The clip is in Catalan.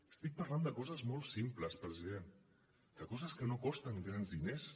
estic parlant de coses molt simples president de coses que no costen grans diners